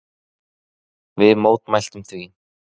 Við mótmæltum því.